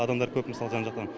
адамдар көп мысалға жан жақтан